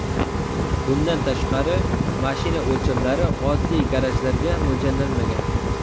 Bundan tashqari, mashina o‘lchamlari oddiy garajlarga mo‘ljallanmagan.